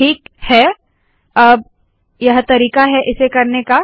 ठीक है अब यह तरीका है इसे करने का